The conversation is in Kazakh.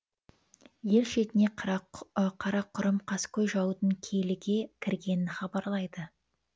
ел шетіне қарақұрым қаскөй жаудың киліге кіргенін хабарлайды